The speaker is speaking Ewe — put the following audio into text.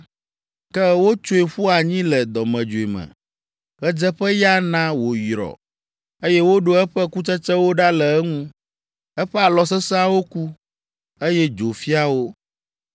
Ke wotsoe ƒu anyi le dɔmedzoe me. Ɣedzeƒeya na wòyrɔ, eye woɖe eƒe kutsetsewo ɖa le eŋu. Eƒe alɔ sesẽawo ku, eye dzo fia wo.